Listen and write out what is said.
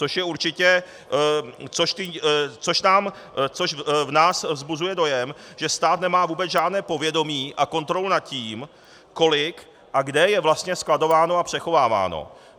Což v nás vzbuzuje dojem, že stát nemá vůbec žádné povědomí a kontrolu nad tím, kolik a kde je vlastně skladováno a přechováváno.